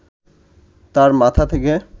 তার মাথা থেকে